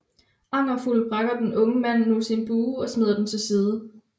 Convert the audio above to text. Angerfuld brækker den unge mand nu sin bue og smider den til side